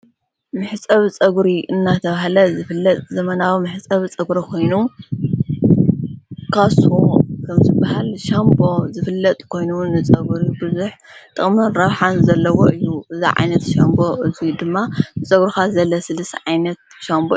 ምሕጸብ ጸጕሪ እናተብሃለ ዘፍለጥ ዘመናዊ ምሕጸብ ጸጕሪ ኾይኑ ካሶ ኸምፂ በሃል ሻንቦ ዘፍለጥ ኮይኑዉን ንጸጕሪ ብዙኅ ጠቕመን ራብሓን ዘለዎ እዩ። እዚ ዓይነት ሻንቦ እዙይ ድማ ንጸጕሩኻ ዘለስለስ ዓይነት ሻምቦ እዩ።